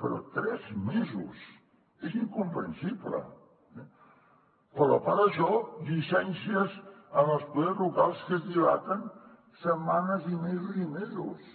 però tres mesos és incomprensible però a part això llicències en els poders locals que es dilaten setmanes i mesos i mesos